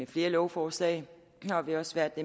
flere lovforslag og vi har også været det